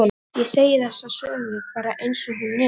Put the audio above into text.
Já, ég segi þessa sögu bara einsog hún er.